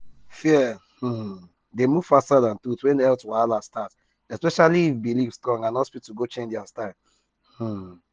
fear um dey move faster than truth when health wahala start especially if belief strong and hospital go change their style. um